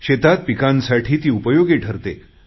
शेतात पिकांसाठी ती उपयोगी ठरते